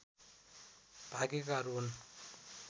भागेकाहरू हुन्